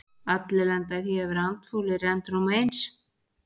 Allir lenda í því að vera andfúlir endrum og eins.